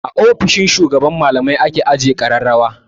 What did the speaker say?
A ofishin shugaban malamai ake ajiye ƙararrawa.